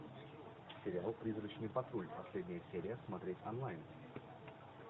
сериал призрачный патруль последняя серия смотреть онлайн